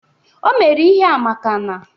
O mere ihea maka na